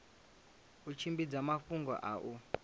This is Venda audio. u tshimbidza mafhungo a u